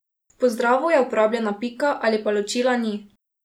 V pozdravu je uporabljena pika ali pa ločila ni.